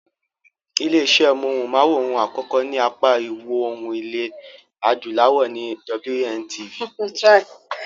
Ilé iṣé móhùn-máwòrán àkọ́kọ́ ní apá ìwọòrùn ilẹ̀ adúláwọ̀ ni WNTV.